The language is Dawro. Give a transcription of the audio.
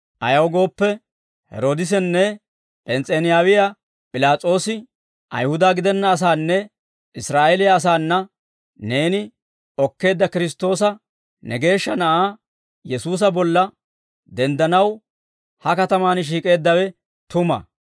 «Ayaw gooppe, Heeroodisinne P'ens's'enaawiyaa P'ilaas'oosi Ayihuda gidenna asaananne Israa'eeliyaa asaana, neeni okkeedda Kiristtoosa ne Geeshsha Na'aa Yesuusa bolla denddanaw, ha katamaan shiik'eeddawe tuma.